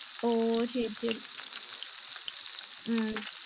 ஒஹ்ஹ சேரி சேரி உம்